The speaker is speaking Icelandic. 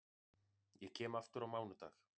Ég kem aftur á mánudag.